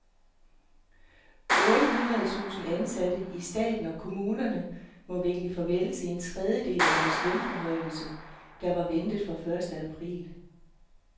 Otte hundrede tusind ansatte i staten og kommunerne må vinke farvel til en tredjedel af deres lønforhøjelse, der var ventet fra første april.